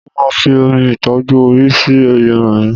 Mo máa fi omi ìtọ́jú orí sí irun mi